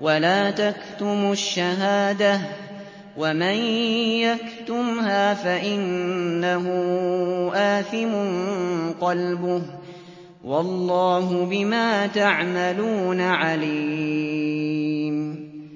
وَلَا تَكْتُمُوا الشَّهَادَةَ ۚ وَمَن يَكْتُمْهَا فَإِنَّهُ آثِمٌ قَلْبُهُ ۗ وَاللَّهُ بِمَا تَعْمَلُونَ عَلِيمٌ